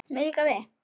Mér líkar við